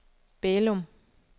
Bælum